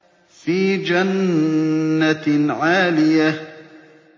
فِي جَنَّةٍ عَالِيَةٍ